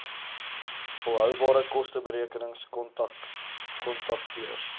volhoubare kosteberekenings kontakteurs